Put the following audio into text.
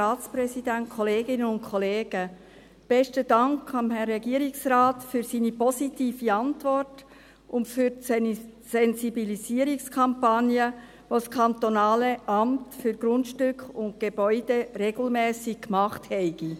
Dank dem Herrn Regierungsrat für seine positive Antwort und für die Sensibilisierungskampagne, die das kantonale Amt für Grundstücke und Gebäude (AGG) regelmässig gemacht habe.